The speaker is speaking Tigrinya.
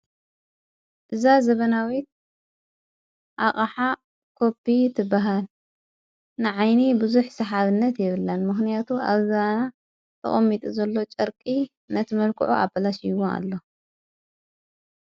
እዛ ዘበናዊት ኣቓሃ ቆቢ ትበሃል ንዓይኒ ብዙኅ ሰሓብነት የብላን ምኽንያቱ ኣብዛና ተቐሚጡ ዘሎ ጨርቂ ነቲ መልክዑ ኣበላሽ ይዎ ኣሎ፡፡